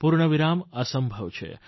પૂર્ણવિરામ અસંભવ છે